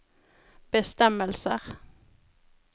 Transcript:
bestemmelser